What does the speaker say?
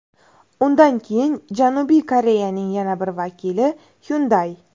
Undan keyin Janubiy Koreyaning yana bir vakili – Hyundai.